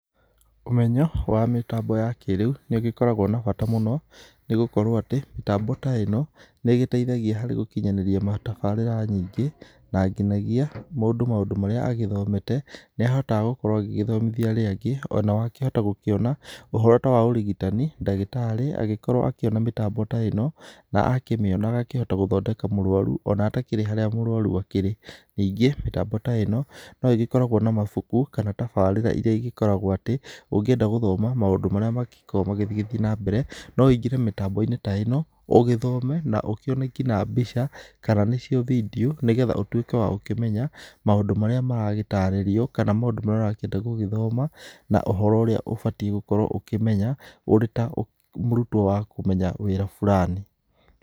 Ũmenyo wa mĩtambo ya kĩrĩu nĩ ũgĩkoragwo na bata mũno nĩgũkorwo atĩ mĩtambo ta ĩno nĩ igĩteithagia harĩ gũkinyanĩria tafarĩra nyingĩ, na nginagia mũndũ maũndu marĩa agĩthomete. Nĩ ahotaga gũkorwo agĩgĩthomithia arĩa angĩ ona ho akĩenda gũkĩona ũhoro ta wa ũrigitani. Ndagĩtarĩ agĩkorwo akĩona mĩtambo ta ĩno na akĩmĩona agakĩhota gũthondeka mũrwaru ona atakĩrĩ harĩa mũrwaru akĩrĩ. Ningĩ mĩtambi ta ĩno no ĩgĩkoragwo na mabuku kana tafarĩra iria igĩkoragwo atĩ ũngĩenda gũthoma maũndũ marĩa magĩkoragwo magĩgĩthiĩ na mbere. No wingĩre mitambo-inĩ ta ĩno ũgĩthome na ũkĩone ngina mbica kana nicio bindiũ nĩ getha ũtuĩke wa gũkĩmenya maũndũ marĩa maragĩtarĩrio kana maũndũ marĩa ũrakĩenda gũgĩthoma, na uhoro ũrĩa ubatiĩ gũkorwo ukĩmenya ũrĩ ta mũrutwo wa kũmenya wĩra furani.